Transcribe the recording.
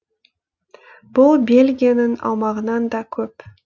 бұл бельгияның аумағынан да көп